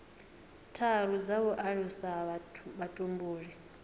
tharu dza u alusa vhutumbuli